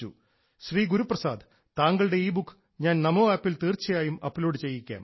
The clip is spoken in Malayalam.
ശ്രീ ഗുരുപ്രസാദ് താങ്കളുടെ ഇബുക്ക് ഞാൻ നമോ ആപ്പിൽ തീർച്ചയായും അപ്ലോഡ് ചെയ്യിക്കാം